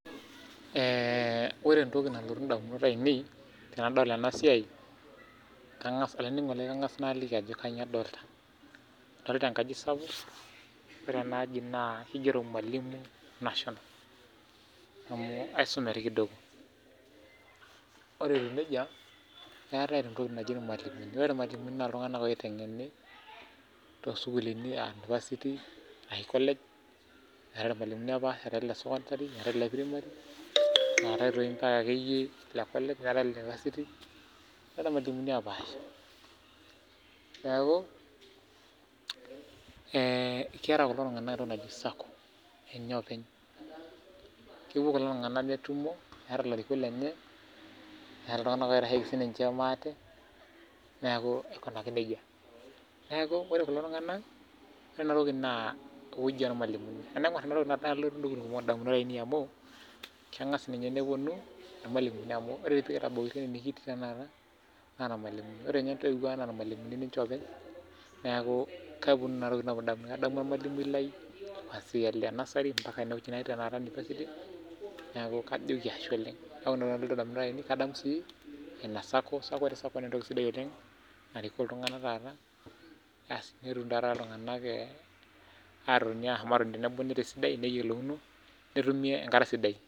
Ore entoki nalotu indamunot ainei, tenadol enasiai, kang'as olainining'oni lai kang'as naliki ajo kanyioo adolta. Adolta enkaji sapuk, ore enaaji naa kigero Mwalimu national. Amu aisume toi kidogo. Ore etiu nejia, eetae entoki naji irmalimuni. Ore irmalimuni na iltung'anak oiteng'eni tosukuulini ah University ashu college, eeta irmalimuni opaasha, eetai ile sokondari, eetae ile primary, neetae toi mpaka akeyie ile college, neetae ile nepasity, neetae irmalimuni opaasha. Neeku, keeta kulo tung'anak entoki naji SACCO ninye openy. Kepuo kulo tung'anak netumo, eeta larikok lenye, eeta iltung'anak oitasheki sininche maate, neeku aikunaki nejia. Neeku ore kulo tung'anak, ore enatoki naa ewueji ormalimuni. Tenaing'or enatoki nelotu intokiting kumok indamunot ainei amu, keng'as ninye neponu irmalimuni amu ore pekitabautua ene nikitii tanakata, naa irmalimuni. Ore nye intoiwuo ang' na irmalimuni ninche openy, neeku keponu kuna tokiting indamunot. Adamu ormalimui lai kwanzia ole nasari mpaka enewueji natii tanakata University, neeku kajoki ashe oleng. Kake ore entoki nalotu indamunot ainei, kadamu si SACCO, ore Sacco nentoki sidai oleng, narikoo iltung'anak taata, asi netum taata iltung'anak atotoni tenebo esidai neyiolouno, netumi enkata sidai.